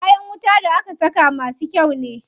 Kayan wuta da aka saka masu kyau ne.